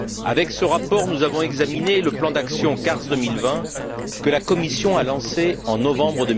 Avec ce rapport, nous avons examiné le plan d'action CARS 2020, que la Commission a lancé en novembre